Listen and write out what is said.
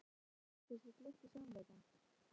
Á þann hátt geti kannski glitt í sannleikann.